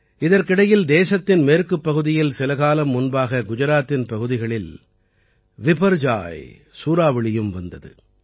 இதற்கிடையில் தேசத்தின் மேற்குப் பகுதியில் சில காலம் முன்பாக குஜராத்தின் பகுதிகளில் விபர்ஜாய் சூறாவளியும் வந்தது